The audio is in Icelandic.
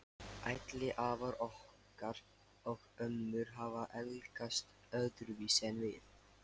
Ætli afar okkar og ömmur hafi elskast öðruvísi en við?